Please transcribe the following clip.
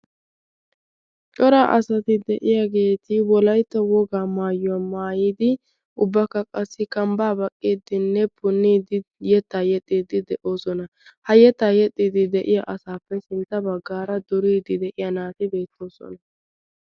cora asati de7iyaageeti wolaitta wogaa maayyuwaa maayidi ubbakka qassi kambbaa baqqiddinne punniidi yettaa yexxiddi de7oosoNa. ha yettaa yexxidi de7iya asaappe sintta baggaara duriidi de7iya naati beettoosona.